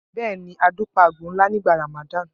Bẹ́ẹ̀ ni, Adu pa àgbò ńlá nígbà Ramadan.